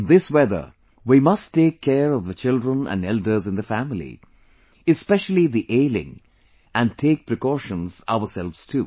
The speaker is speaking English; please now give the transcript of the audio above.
In this weather, we must take care of the children and elders in the family, especially the ailing and take precautions ourselves too